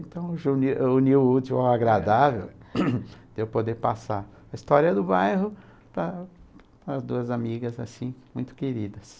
Então, uniu o útil ao agradável de eu poder passar a história do bairro para para as duas amigas, assim, muito queridas.